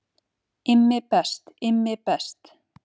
Immi best, Immi best.